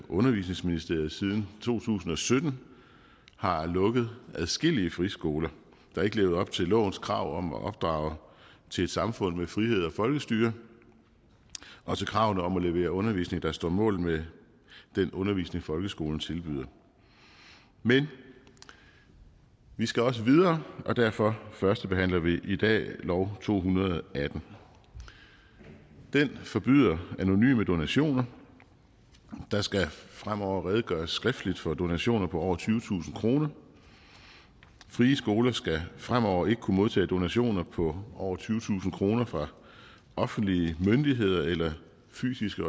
undervisningsministeriet siden to tusind og sytten har lukket adskillige friskoler der ikke levede op til lovens krav om at opdrage til et samfund med frihed og folkestyre og til kravet om at levere undervisning der står mål med den undervisning folkeskolen tilbyder men vi skal også videre og derfor førstebehandler vi i dag lovforslag nummer to hundrede og atten det forbyder anonyme donationer der skal fremover redegøres skriftligt for donationer på over tyvetusind kroner frie skoler skal fremover ikke kunne modtage donationer på over tyvetusind kroner fra offentlige myndigheder eller fysiske